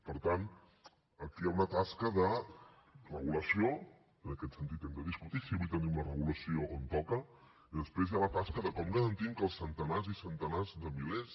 per tant aquí hi ha una tasca de regulació en aquest sentit hem de discutir si avui tenim la regulació on toca i després hi ha la tasca de com garantim que els centenars i centenars de milers